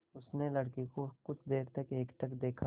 उसने लड़के को कुछ देर तक एकटक देखा